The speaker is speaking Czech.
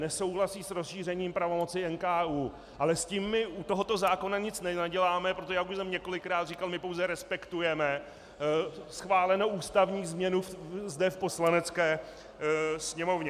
Nesouhlasí s rozšířením pravomoci NKÚ, ale s tím my u tohoto zákona nic nenaděláme, protože jak už jsem několikrát říkal, my pouze respektujeme schválenou ústavní změnu zde v Poslanecké sněmovně.